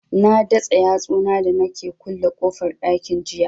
Na datsa yatsu na da nake kulle kofar ɗakin jiya